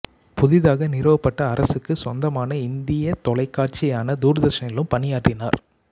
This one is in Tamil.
புதிதாக நிறுவப்பட்ட அரசுக்கு சொந்தமான இந்திய தொலைக்காட்சியான தூர்தர்ஷனிலும் பணியாற்றினார்